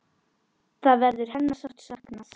Þar verður hennar sárt saknað.